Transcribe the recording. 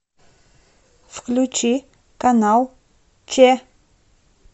включи канал че